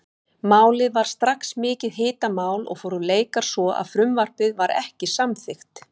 Málið varð strax mikið hitamál og fóru leikar svo að frumvarpið var ekki samþykkt.